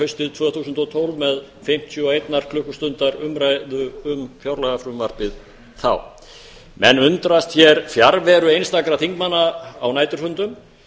haustið tvö þúsund og tólf með fimmtíu og einnar klukkustundar umræðu um fjárlagafrumvarpið þá menn undrast hér fjarveru einstakra þingmanna á næturfundum